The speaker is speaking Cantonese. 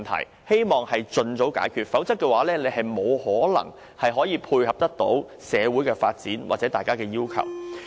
我希望政府能盡早解決，否則沒可能配合社會的發展或市民要求。